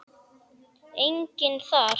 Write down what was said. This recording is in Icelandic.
Enginn þar.